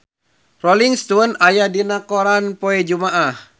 Rolling Stone aya dina koran poe Jumaah